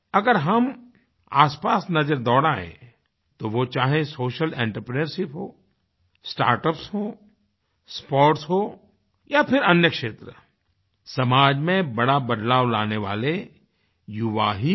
अगर हम आसपास नज़र दौड़ायें तो वो चाहे सोशल आंत्रप्रिन्योरशिप हो स्टार्टअप्स हो स्पोर्ट्स हो या फिर अन्य क्षेत्र समाज में बड़ा बदलाव लाने वाले युवा ही हैं